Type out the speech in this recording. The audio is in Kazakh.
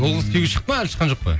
ол қыз күйеуге шықты ма әлі шыққан жоқ па